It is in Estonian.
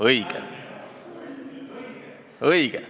Õige!